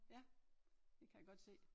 Ja det kan jeg godt se